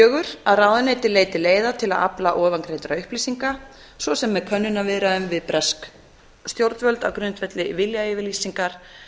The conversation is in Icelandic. fjórða að ráðuneytið leiti leiða til að afla ofangreindra upplýsinga á með könnunarviðræðum við bresk stjórnvöld á grundvelli viljayfirlýsingar